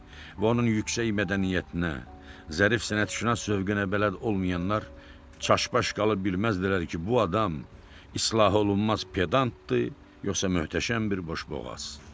Və onun yüksək mədəniyyətinə, zərif sənətşünas zövqünə bələd olmayanlar çaşbaş qalıb bilməzdilər ki, bu adam islah olunmaz pedantdır yoxsa möhtəşəm bir boşboğaz.